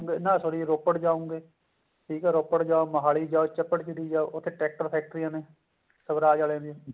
ਨਾ sorry ਰੋਪੜ ਜਾਓਂਗੇ ਠੀਕ ਆ ਰੋਪੜ ਜਾਓ ਮੋਹਾਲੀ ਜਾਓ ਚੱਪੜ ਚਿੜੀ ਜਾਓ ਉੱਥੇ tractor ਫੈਕਟਰੀਆਂ ਨੇ ਸਵਰਾਜ ਆਲਿਆਂ ਦੀਆਂ